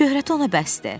Şöhrəti ona bəsdir.